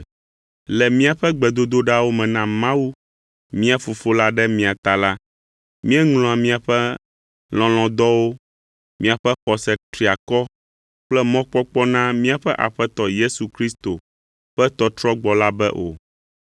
Le míaƒe gbedodoɖawo me na Mawu, mía Fofo la ɖe mia ta la, míeŋlɔa miaƒe lɔlɔ̃dɔwo, miaƒe xɔse triakɔ kple mɔkpɔkpɔ na míaƒe Aƒetɔ Yesu Kristo ƒe tɔtrɔgbɔ la be o.